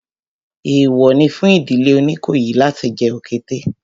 Èèwọ̀ ni fún ìdílé Oníkòyí láti jẹ òkété